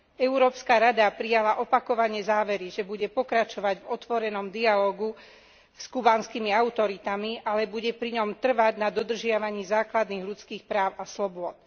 Európska rada prijala opakovane závery, že bude pokračovať v otvorenom dialógu s kubánskymi autoritami, ale bude pri ňom trvať na dodržiavaní základných ľudských práv a slobôd.